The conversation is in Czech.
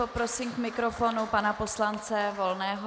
Poprosím k mikrofonu pana poslance Volného.